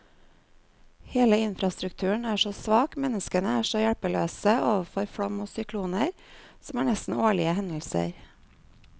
Hele infrastrukturen er så svak, menneskene er så hjelpeløse overfor flom og sykloner, som er nesten årlige hendelser.